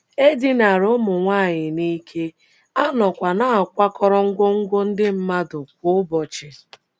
E dinara ụmụ nwanyị n’ike, a nọkwa na - akwakọrọ ngwongwo ndị mmadụ kwa ụbọchị.